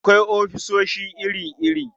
Akwai ofisoshi iri-iri.